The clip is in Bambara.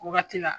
Wagati la